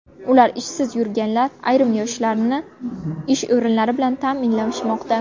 Ular ishsiz yurganlar ayrim yoshlarni ish o‘rinlari bilan ta’minlashmoqda.